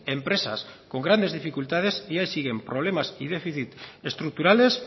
empresas con grandes dificultades y ahí siguen problemas y déficit estructurales